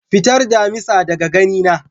Fitar damisa daga gani na.